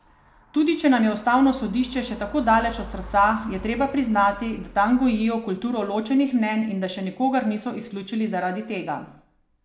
Tudi če nam je ustavno sodišče še tako daleč od srca, je treba priznati, da tam gojijo kulturo ločenih mnenj in da še nikogar niso izključili zaradi tega.